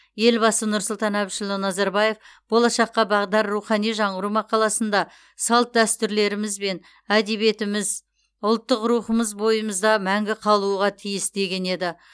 елбасы нұрсұлтан әбішұлы назарбаев болашаққа бағдар рухани жаңғыру мақаласында салт дәстүрлеріміз әдебиетіміз ұлттық рухымыз бойымызда мәңгі қалуға тиіс деген еді